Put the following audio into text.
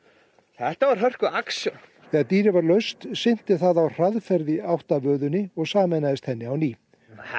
þetta var hörku action þegar dýrið var laust sigldi það á hraðferð í átt að vöðunni og sameinaðist henni á ný